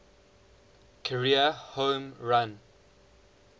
career home run